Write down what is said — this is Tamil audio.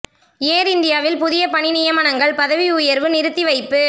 ஏர் இந்தியாவில் புதிய பணி நியமனங்கள் பதவி உயர்வு நிறுத்தி வைப்பு